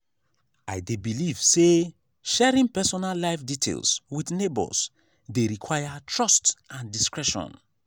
i dey believe say sharing personal life details with neighbors dey require trust and discretion.